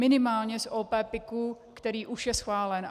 Minimálně z OP PIK, který už je schválen.